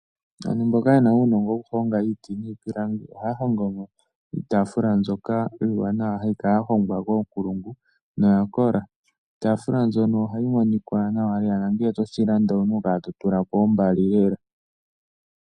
Aantu mboka ye na uunongo wokuhonga iiti niipilangi oha ya hongomo iitafula mbyoka iiwanawa hayi kala ya hongwa koonkulungu noya kola. Iitafula mbyono oha yi monika nawa lela nangele toshi landa owu na okukala to tulapo ombali lela.